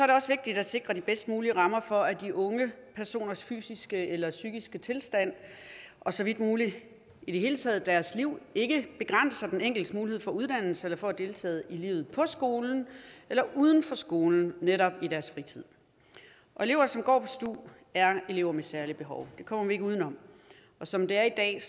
det også vigtigt at sikre de bedst mulige rammer for at de unge personers fysiske eller psykiske tilstand og så vidt muligt i det hele taget deres liv ikke begrænser den enkeltes mulighed for uddannelse eller for at deltage i livet på skolen eller uden for skolen netop i deres fritid elever som går på stu er elever med særlige behov det kommer vi ikke uden om som det er i dag